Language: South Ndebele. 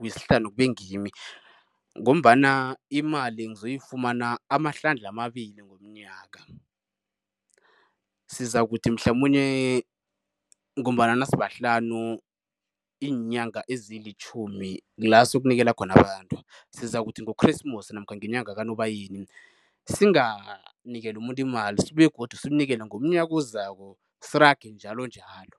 wesihlanu kube ngimi ngombana imali ngizoyifumana amahlandla amabili ngomnyaka. Sizakuthi mhlamunye ngombana nasibahlanu, iinyanga ezilitjhumi kula siyokunikela khona abantu. Sizakuthi ngokhresimusi namkha ngenyanga kaNobayeni, singanikeli umuntu imali, sibuye begodu simnikele ngomnyaka ozako sirage njalonjalo.